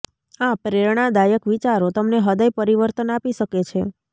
આ પ્રેરણાદાયક વિચારો તમને હૃદય પરિવર્તન આપી શકે છે